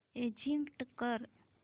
exit कर